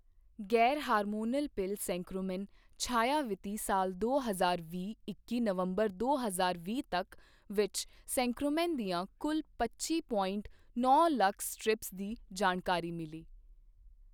ਗੈਰ hormonal pill centchroman Chhaya ਵਿੱਤੀ ਸਾਲ ਦੋ ਹਜ਼ਾਰ ਵੀਹ ਇੱਕੀ ਨਵੰਬਰ ਦੋ ਹਜ਼ਾਰ ਵੀਹ ਤੱਕ ਵਿੱਚ ਸੈਂਚ੍ਰੋਮੈਨ ਦੀਆਂ ਕੁੱਲ ਪੱਚੀ ਪੋਇੰਟ ਨੌਂ ਲੱਖ ਸਟ੍ਰਿਪਜ਼ ਦੀ ਜਾਣਕਾਰੀ ਮਿਲੀ।